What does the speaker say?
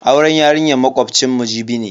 Auren yarinyar makocinmu Jibi ne.